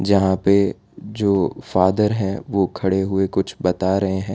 यहां पे जो फादर है वो खड़े हुए कुछ बता रहे हैं।